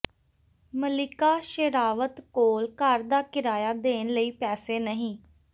ਮੱਲਿਕਾ ਸ਼ੇਰਾਵਤ ਕੋਲ ਘਰ ਦਾ ਕਿਰਾਇਆ ਦੇਣ ਲਈ ਪੈਸੇ ਨਹੀਂ